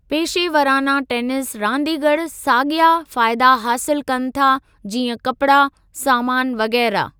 पेशेवराना tennis रांदीगर साॻिया फ़ाइदा हासिलु कनि था जीअं कपिड़ा, सामानु वग़ैरह।